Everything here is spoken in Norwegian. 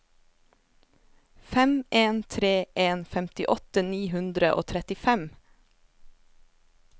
fem en tre en femtiåtte ni hundre og trettifem